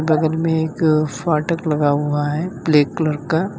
बगल में एक फाटक लगा हुआ है ब्लैक कलर का।